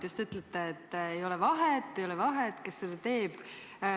Te ütlete, et ei ole vahet, kes seda teeb.